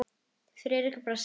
Friðrik brosti.